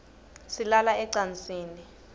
silala ecansini